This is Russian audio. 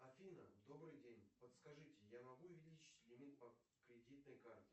афина добрый день подскажите я могу увеличить лимит по кредитной карте